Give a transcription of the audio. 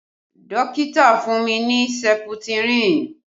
Dókítà fún mi ní seputirin